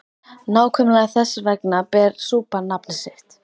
Nákvæmlega þess vegna ber súpan nafn sitt.